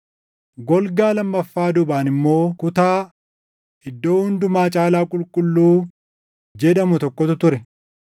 Golgaa lammaffaa duubaan immoo kutaa, “Iddoo Hundumaa Caalaa Qulqulluu” jedhamu tokkotu ture.